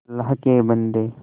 अल्लाह के बन्दे